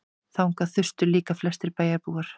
Þangað þustu líka flestir bæjarbúar.